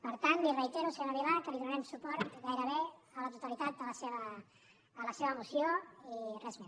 per tant li reitero senyora vilà que li donarem suport gairebé a la totalitat de la seva moció i res més